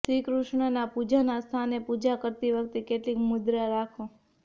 શ્રી કૃષ્ણના પૂજાના સ્થાને પૂજા કરતી વખતે કેટલીક મુદ્રા રાખો